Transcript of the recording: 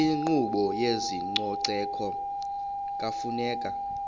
inkqubo yezococeko kufuneka